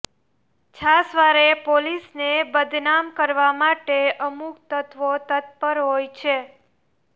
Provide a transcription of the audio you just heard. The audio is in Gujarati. છાસવારે પોલીસને બદનામ કરવા માટે અમુક તત્વો તત્પર હોય છે